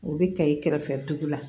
O bɛ kɛ i kɛrɛfɛ dugu la